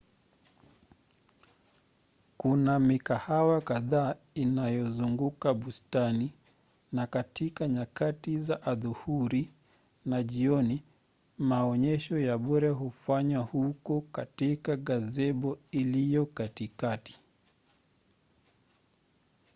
kuna mikahawa kadhaa inayozunguka bustani na katika nyakati za adhuhuri na jioni maonyesho ya bure hufanywa huko katika gazebo iliyo katikati